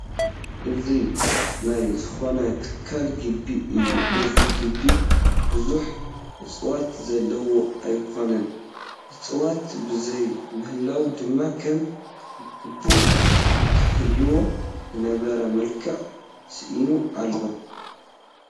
እዚ ናይ ዝኾነ ትካል ግቢ እዩ፡፡ እዚ ግቢ ብዙሕ እፅዋት ዘለዎ ኣይኮነን፡፡ እፅዋት ብዘይምህላዉ ድማ ከም ግቡእ ክህልዎ ዝነበረ መልክዕ ስኢኑ ኣሎ፡፡